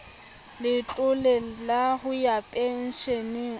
letlole la ho ya pensheneng